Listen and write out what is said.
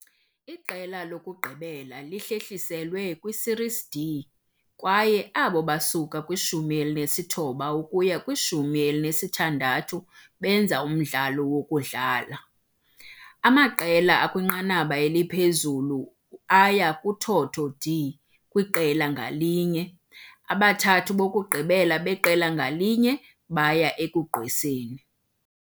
Iqela lokugqibela lihlehliselwe kwiSerie D kwaye abo basuka kwishumi elinesithoba ukuya kwishumi elinesithandathu benza umdlalo wokudlala. Amaqela akwinqanaba eliphezulu aya kuthotho D Kwiqela ngalinye. abathathu bokugqibela beqela ngalinye baya ekugqweseni.